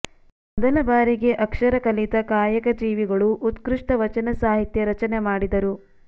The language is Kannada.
ಮೊದಲ ಬಾರಿಗೆ ಅಕ್ಷರ ಕಲಿತ ಕಾಯಕಜೀವಿಗಳು ಉತ್ಕೃಷ್ಟ ವಚನ ಸಾಹಿತ್ಯ ರಚನೆ ಮಾಡಿದರು